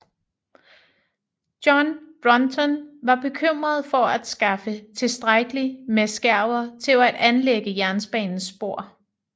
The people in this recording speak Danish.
John Brunton var bekymret for at skaffe tilstrækkeligt med skærver til at anlægge jernbanens spor